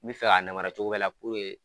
N bɛ fɛ k'a namara cogo bɛɛ la .